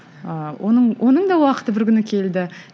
ыыы оның оның да уақыты бір күні келді